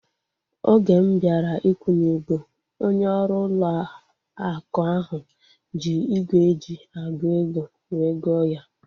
Oge m bịara ikwunye ego, onye ọrụ ụlọ akụ ahu ji ígwè eji agụ ego wee gụọ ya